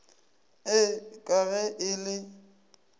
ee ka ge e le